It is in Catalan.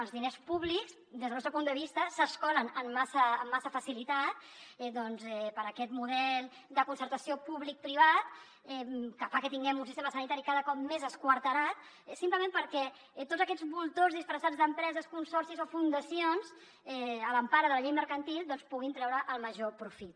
els diners públics des del nostre punt de vista s’escolen amb massa facilitat doncs per aquest model de concertació publicoprivat que fa que tinguem un sistema sanitari cada cop més esquarterat simplement perquè tots aquests voltors disfressats d’empreses consorcis o fundacions a l’empara de la llei mercantil en puguin treure el major profit